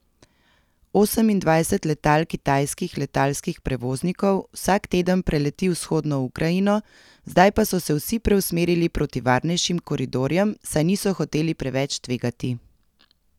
Osemindvajset letal kitajskih letalskih prevoznikov vsak teden preleti vzhodno Ukrajino, zdaj pa so se vsi preusmerili proti varnejšim koridorjem, saj niso hoteli preveč tvegati.